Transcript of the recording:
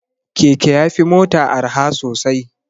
Keke ya fi mota arha sosai.